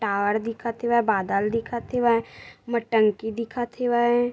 टार दिखत हेवय बादल दिखत हेवय म टंकी दिखत हेवय।